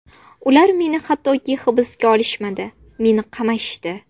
Ular meni hattoki hibsga olishmadi, meni qamashdi.